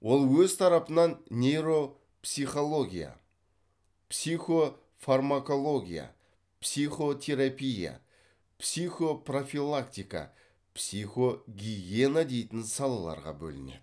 ол өз тарапынан нейропсихология психофармакология психотерапия психопрофилактика психогигиена дейтін салаларға бөлінеді